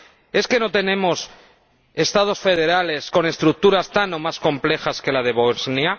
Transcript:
¿Es que no tenemos Estados federales con estructuras tan o más complejas que la de Bosnia?